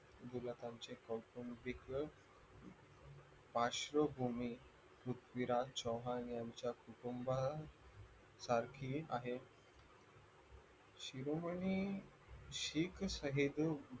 गुलाकांच्या कौटुंबिक पार्श्वभूमी पृथ्वीराज चव्हाण यांच्या कुटुंबासारखी आहे शिरोमणी शिकसहिर